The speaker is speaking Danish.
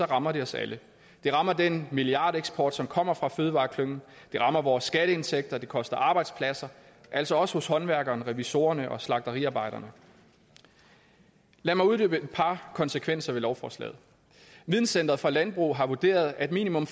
rammer det os alle det rammer den milliardeksport som kommer fra fødevareklyngen det rammer vores skatteindtægter det koster arbejdspladser altså også hos håndværkerne revisorerne og slagteriarbejderne lad mig uddybe et par konsekvenser af lovforslaget videncentret for landbrug har vurderet at minimum